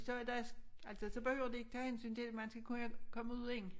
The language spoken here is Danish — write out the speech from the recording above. Så i dag altså så behøver de ikke tage hensyn til man skal kunne komme ud igen